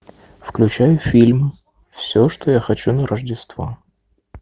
включай фильм все что я хочу на рождество